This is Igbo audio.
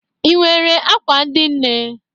I nwere akwa ndị nne?